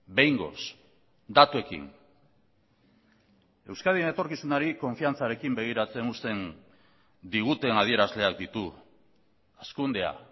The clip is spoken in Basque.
behingoz datuekin euskadin etorkizunari konfiantzarekin begiratzen uzten diguten adierazleak ditu hazkundea